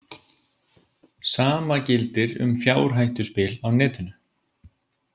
Sama gildir um fjárhættuspil á Netinu.